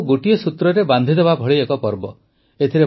ହୋଲି ଆମକୁ ଗୋଟିଏ ସୂତ୍ରରେ ବାନ୍ଧିଦେବା ଭଳି ଏକ ପର୍ବ